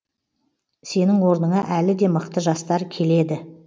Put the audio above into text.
сенің орныңа әлі де мықты жастар келеді